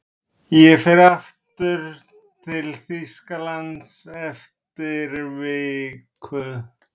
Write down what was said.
Ég fer aftur til Þýskalands eftir viku.